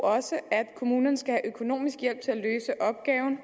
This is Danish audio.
også at kommunerne skal have økonomisk hjælp til at løse opgaven